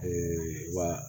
wa